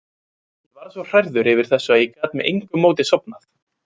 Ég varð svo hrærður yfir þessu að ég gat með engu móti sofnað.